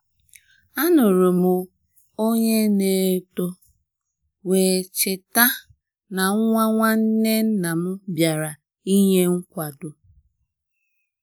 A nụrụ m onye na eto wee cheta eto wee cheta na nwa nwanne nnam bịara ịnye nkwado